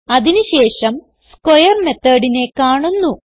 അതിന് ശേഷം സ്ക്വയർ methodനെ കാണുന്നു